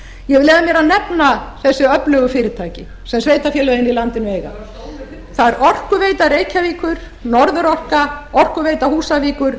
ég vil leyfa mér að nefna þessi öflugu fyrirtæki sem sveitarfélögin í landinu eiga það er orkuveita reykjavíkur norðurorka orkuveita húsavíkur